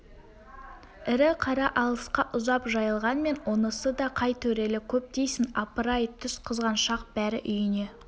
іріқара алысқа ұзап жайылғанмен онысы да қай төрелі көп дейсің апыр-ай түс қызған шақ бәрі үйіне